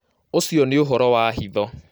Ũcio nĩ ũhoro wa hitho